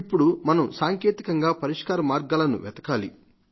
ఇప్పుడు మనం సాంకేతికంగా పరిష్కార మార్గాలను వెతకాలి